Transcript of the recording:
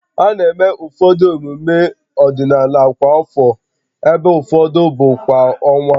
A na-eme ụfọdụ emume ọdịnala kwa afọ, ebe ụfọdụ bụ kwa ọnwa